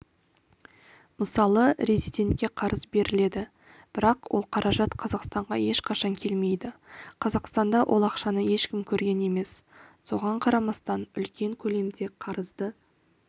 мысалы резидентке қарыз беріледі бірақ ол қаражат қазақстанға ешқашан келмейді қазақстанда ол ақшаны ешкім көрген емес соған қарамастан үлкен көлемде қарызды